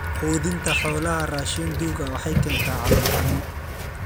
Quudinta xoolaha raashiin duug ah waxay keentaa calool xanuun.